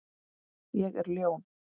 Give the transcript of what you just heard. Ég er ljón.